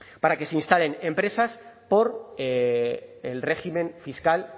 para que se instalen empresas por el régimen fiscal